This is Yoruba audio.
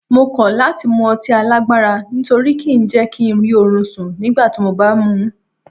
Mo kọ́ láti mu ọtí alágbára nítorí kí ń jẹ́ kí ń rí orun sùn nígbàtí mo bá mú un.